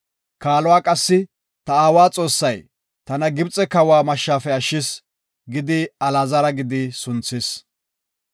Kaaluwa qassi, “Ta aawa Xoossay, tana Gibxe kawa mashshafe ashshis” gidi Alaazara gidi sunthis.